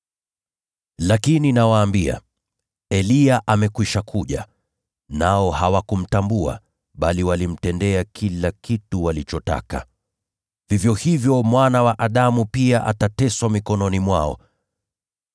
Lakini nawaambia, Eliya amekwisha kuja, nao hawakumtambua, bali walimtendea kila kitu walichotaka. Vivyo hivyo Mwana wa Adamu pia atateswa mikononi mwao.”